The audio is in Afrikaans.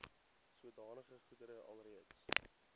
sodanige goedere alreeds